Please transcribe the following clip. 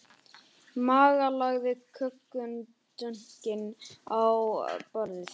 Magga lagði kökudunkinn á borðið.